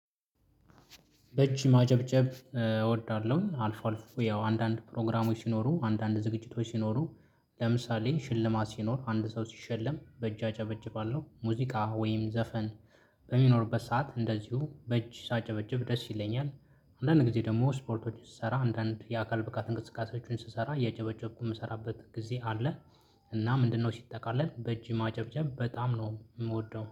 በእጅ ማጨብጨብ እወዳለሁ አልፎ አልፎ ያው አንዳንድ ፕሮግራሞች ሲኖሩ አንዳንድ ዝግጅቶች ሲኖሩ ለምሳሌ ሽልማት ሲኖር፣ አንድ ሰው ሲሸለም በእጃ ጨበጭባለሁ። ሙዚቃ ወይም ዘፈን በሚኖርበት ሰዓት እንደዚሁ በእጅ ሳጨበጭብ ደስ ይለኛል። አንዳንድ ጊዜ ደግሞ ስፖርቶች ስሰራ አንዳንድ የአካል ብቃት እንቅስቃሴዎችን ስሰራ እያጨበጨብኩ የምሰራበት ጊዜ አለ እና ምንድነው ሲጠቃለል በእጅ ማጨብጨብ በጣም ነው የምወደው።